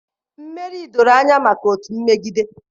Mmeri doro anya maka otu mmegide